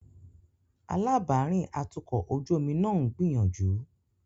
Alábàárìn atukọ̀ ojú omi náà ń gbìyànjú.